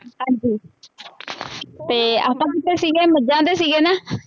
ਹਾਂਜੀ ਅਤੇ ਆਪਾਂ ਕਿੱਥੇ ਸੀਗੇ ਮੱਝਾਂ ਤੇ ਸੀਗੇ ਨਾ